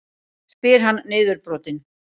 spyr hann niðurbrotinn.